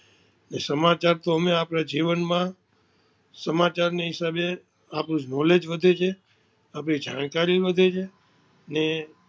સમાચાર તો ઓમે આપણે જીવન માં સમાચાર ની હિસાબે આપનું નોલેજ વધે છે, આપની જાણકારી વધે છે ને